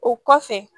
O kɔfɛ